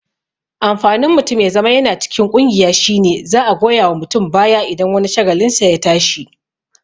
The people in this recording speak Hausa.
Amfanin mutum ya zama yana cikin ƙungiya shine za'a goya wa mutum baya idan wani shagalinsa ya tashi